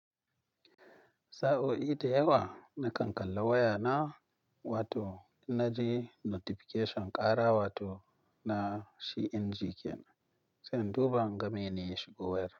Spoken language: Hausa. Sa'o'i da yawa na kankalla waya na, wato ina ji notification ƙara wato na shi inji ken, sai in duba in ga me ne ya shigo wasap.